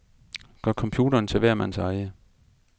Gør computeren til hver mands eje.